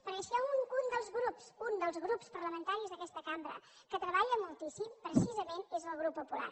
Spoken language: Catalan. perquè si hi ha un dels grups un dels grups parlamentaris d’aquesta cambra que treballa moltíssim precisament és el grup popular